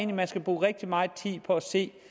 man skal bruge rigtig meget tid på at se